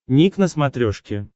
ник на смотрешке